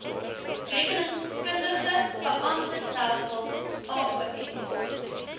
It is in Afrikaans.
rekeningkundige beamptestelsel aos